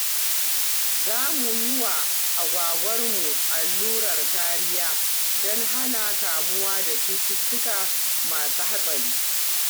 Za mu yi wa agwagwarmu allurar kariya don hana kamuwa da cututtuka masu hatsari.